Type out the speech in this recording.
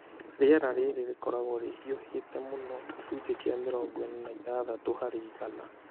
Rĩera rĩrĩ rĩkoragwo rĩhiũhĩte mũno gĩcunjĩ kĩa mĩrongo ĩna na ithathatũ harĩ igana.